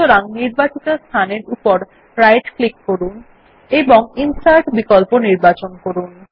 সুতরাং নির্বাচন এর উপর রাইট ডান ক্লিক করুন এবং ইনসার্ট বিকল্প নির্বাচন করুন